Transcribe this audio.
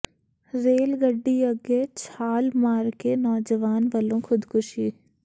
rail ਗੱਡੀ ਅੱਗੇ ਛਾਲ ਮਾਰ ਕੇ ਨੌਜਵਾਨ ਵਲੋਂ ਖੁਦਕੁਸ਼ੀ